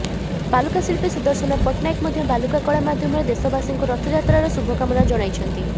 ବାଲୁକା ଶିଳ୍ପୀ ସୁଦର୍ଶନ ପଟ୍ଟନାୟକ ମଧ୍ୟ ବାଲୁକା କଳା ମାଧ୍ୟମରେ ଦେଶବାସୀଙ୍କୁ ରଥଯାତ୍ରାର ଶୁଭକାମନା ଜଣାଇଛନ୍ତି